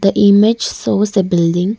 the image shows the building.